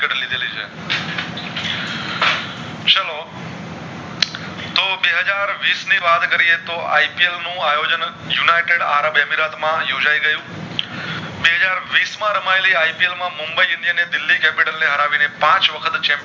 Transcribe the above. તો બે હાજર વિસ ની વાત કરીયે તો IPL નું આયોજાણ માં યોજાય ગયું બે હાજર વિસ માં રમાયેલી IPL માં મુંબઈ અને ઇન્ડિયન ને દિલલી Capital ને હરાવી ને પાંચ વખત